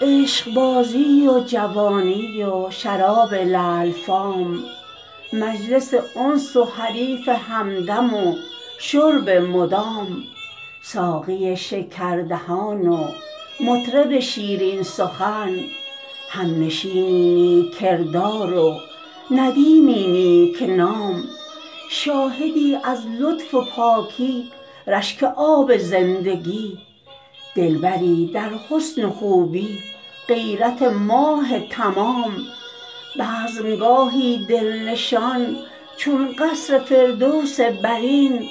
عشقبازی و جوانی و شراب لعل فام مجلس انس و حریف همدم و شرب مدام ساقی شکردهان و مطرب شیرین سخن همنشینی نیک کردار و ندیمی نیک نام شاهدی از لطف و پاکی رشک آب زندگی دلبری در حسن و خوبی غیرت ماه تمام بزم گاهی دل نشان چون قصر فردوس برین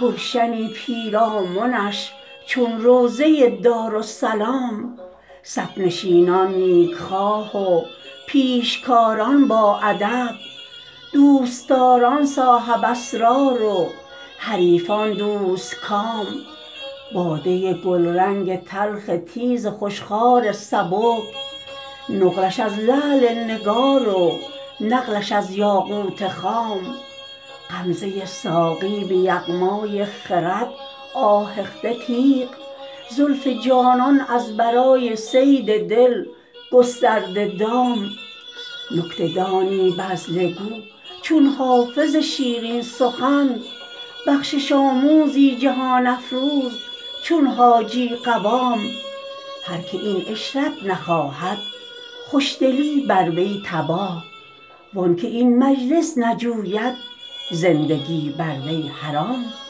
گلشنی پیرامنش چون روضه دارالسلام صف نشینان نیک خواه و پیشکاران باادب دوست داران صاحب اسرار و حریفان دوست کام باده گلرنگ تلخ تیز خوش خوار سبک نقلش از لعل نگار و نقلش از یاقوت خام غمزه ساقی به یغمای خرد آهخته تیغ زلف جانان از برای صید دل گسترده دام نکته دانی بذله گو چون حافظ شیرین سخن بخشش آموزی جهان افروز چون حاجی قوام هر که این عشرت نخواهد خوش دلی بر وی تباه وان که این مجلس نجوید زندگی بر وی حرام